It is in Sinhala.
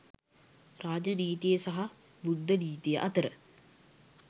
රාජ නීතිය සහ බුද්ධ නීතිය අතර